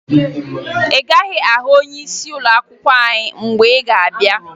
Ị gaghị ahụ onyeisi ụlọakwụkwọ anyị mgbe ị ga-abịa